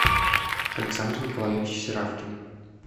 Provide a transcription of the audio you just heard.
александр николаевич серавкин